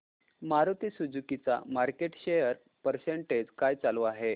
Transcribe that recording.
Maruti Suzuki चा market share percentage काय चालू आहे